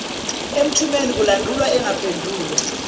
emthumeni kulandulwa engaphendulwa